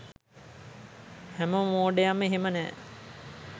හැම මෝඩයම එහෙම නෑ